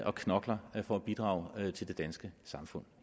og knokler for at bidrage til det danske samfund